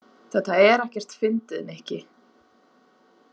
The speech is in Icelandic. Þetta er ekkert fyndið, Nikki.